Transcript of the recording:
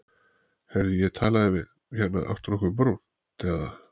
Heyrðu ég talaði við. hérna áttu nokkuð brúnt, eða?